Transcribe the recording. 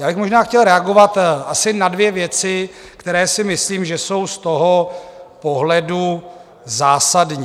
Já bych možná chtěl reagovat asi na dvě věci, které si myslím, že jsou z toho pohledu zásadní.